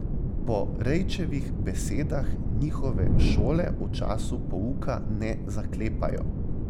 Po Rejčevih besedah njihove šole v času pouka ne zaklepajo.